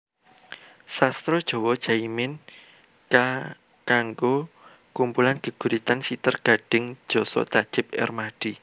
Sastra JawaJaimin K kanggo kumpulan geguritan Siter Gadhing Jasa Tajib Ermadi